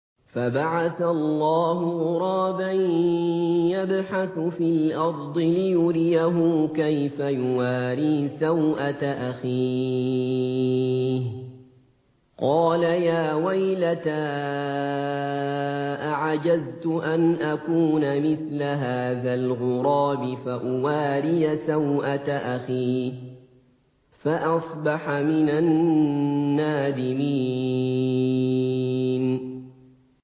فَبَعَثَ اللَّهُ غُرَابًا يَبْحَثُ فِي الْأَرْضِ لِيُرِيَهُ كَيْفَ يُوَارِي سَوْءَةَ أَخِيهِ ۚ قَالَ يَا وَيْلَتَا أَعَجَزْتُ أَنْ أَكُونَ مِثْلَ هَٰذَا الْغُرَابِ فَأُوَارِيَ سَوْءَةَ أَخِي ۖ فَأَصْبَحَ مِنَ النَّادِمِينَ